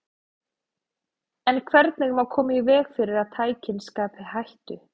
En hvernig má koma í veg fyrir að tækin skapi hættu?